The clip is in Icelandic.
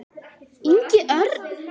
Ingi Örn.